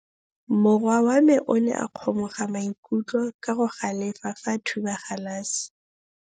Morwa wa me o ne a kgomoga maikutlo ka go galefa fa a thuba galase.